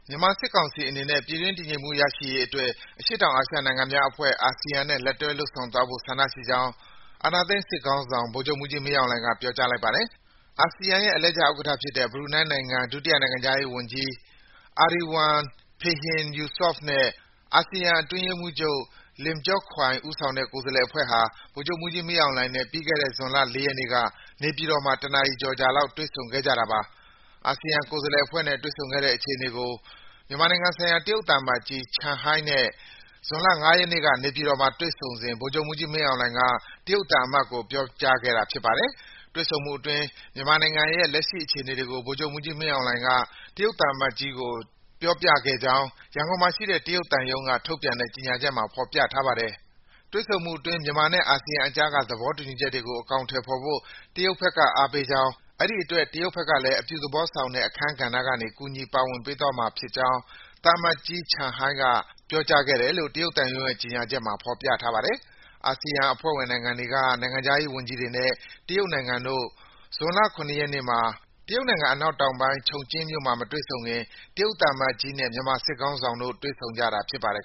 မြန်မာစစ်ကောင်စီအနေနဲ့ ပြည်တွင်းတည်ငြိမ်မှု ရရှိရေးအတွက် အရှေ့အောင်အာရှနိုင်ငံများအဖွဲ့ အာဆီယံနဲ့ လက်တွဲလုပ်ဆောင်သွားဖို့ ဆန္ဒရှိကြောင်း အာဏာသိမ်းစစ်ခေါင်းဆောင် ဗိုလ်ချုပ်မှူးကြီးမင်းအောင်လှိုင်က ပြောကြားလိုက်ပါတယ်။ အာဆီယံရဲ့ အလှည့်ကျဥက္ကဋ္ဌဖြစ်တဲ့ ဘရူနိုင်းနိုင်ငံ ဒုတိယနိုင်ငံခြားရေးဝန်ကြီး Erywan Pehin Yusof နဲ့ အာဆီယံအတွင်းရေးမှူးချုပ် Lim Jock Hoi ဦးဆောင်တဲ့ ကိုယ်စားလှယ်အဖွဲ့ဟာ ဗိုလ်ချုပ်မှူးကြီးမင်းအောင်လှိုင်နဲ့ ပြီးခဲ့တဲ့ ဇွန်လ ၄ ရက်နေ့က နေပြည်တော်မှာ တနာရီကျော်ကျော်လောက် တွေ့ဆုံခဲ့ကြတာပါ။ အာဆီယံကိုယ်စားလှယ်အဖွဲ့နဲ့ တွေ့ဆုံခဲ့တဲ့ အခြေအနေတွေကို မြန်မာနိုင်ငံဆိုင်ရာ တရုတ်သံအမတ်ကြီး Chen Hai နဲ့ ဇွန်လ ၅ ရက်နေ့က နေပြည်တော်မှာ တွေ့ဆုံစဉ် ဗိုလ်ချုပ်မှူးကြီးမင်းအောင်လှိုင်က တရုတ်သံအမတ်ကို ပြောကြားခဲ့တာပါ။ တွေ့ဆုံမှုအတွင်း မြန်မာနိုင်ငံရဲ့ လက်ရှိအခြေအနေတွေကို ဗိုလ်ချုပ်မှူးကြီးမင်းအောင်လှိုင်က တရုတ်သံအမတ်ကို ပြောပြခဲ့ကြောင်း ရန်ကုန်မြို့မှာရှိတဲ့ တရုတ်သံရုံးက ထုတ်ပြန်တဲ့ ကြေညာချက်မှာ ဖော်ပြထားပါတယ်။ တွေ့ဆုံမှုအတွင်း မြန်မာနဲ့ အာဆီယံအကြားက သဘောတူညီချက်တွေကို အကောင်အထည်ဖော်ဖို့ တရုတ်ဘက်က အားပေးကြောင်း၊ အဲဒီအတွက် တရုတ်ဘက်ကလည်း အပြုသဘောဆောင်တဲ့ အခန်းကဏ္ဍကနေ ကူညီ ပါဝင်ပေးသွားမှာကြောင်း သံအမတ်ကြီး Chen Hai က ပြောကြားခဲ့တယ်လို့ တရုတ်သံရုံးရဲ့ ကြေညာချက်မှာ ဖော်ပြထားပါတယ်။ အာဆီယံအဖွဲ့ဝင်နိုင်ငံတွေက နိုင်ငံခြားရေးဝန်ကြီးတွေနဲ့ တရုတ်နိုင်ငံတို့ ဇွန်လ ၇ ရက်နေ့မှာ တရုတ်နိုင်ငံ အနောက်တောင်ပိုင်း ချုံကျင်းမြို့မှာ မတွေ့ဆုံခင် တရုတ်သံအမတ်ကြီးနဲ့ မြန်မာစစ်ခေါင်းဆောင်တို့ တွေ့ဆုံတာဖြစ်ပါတယ်